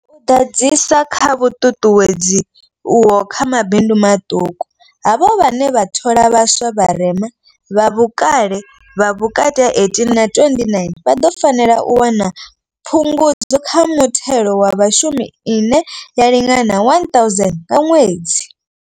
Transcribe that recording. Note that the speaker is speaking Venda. U ḓadzisa kha vhuṱuṱuwedzi uho kha mabindu maṱuku, havho vhane vha thola vha swa vharema, vha vhukale ha vhukati ha 18 na 29, vha ḓo fanela u wana phungudzo kha muthelo wa Vhashumi ine ya lingana R1 000 nga ṅwedzi.